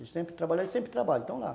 Eles sempre estão lá.